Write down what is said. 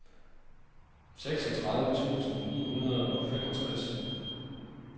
seksogtredive tusind ni hundrede og femogtres